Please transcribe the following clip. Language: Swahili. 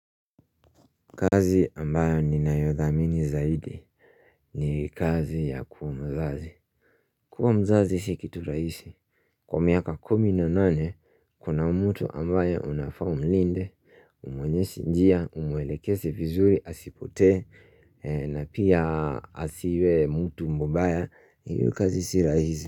Kazi ambayo ni nayodhamini zaidi ni kazi ya kuwa mzazi kuwa mzazi si kitu raisi Kwa miaka kumi na nane kuna mtu ambaye unafa umlinde umwonyeshe njia umwelekeze vizuri asipote na pia asiwe mtu mubaya hiyo kazi si raisi.